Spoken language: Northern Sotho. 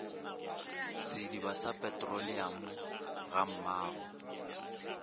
sediba sa petroleamo ga mmogo